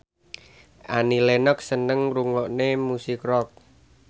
Annie Lenox seneng ngrungokne musik rock